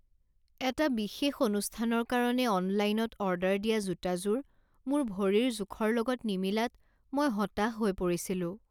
এটা বিশেষ অনুষ্ঠানৰ কাৰণে অনলাইনত অৰ্ডাৰ দিয়া জোতাযোৰ মোৰ ভৰিৰ জোখৰ লগত নিমিলাত মই হতাশ হৈ পৰিছিলোঁ।